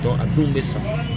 a denw bɛ sa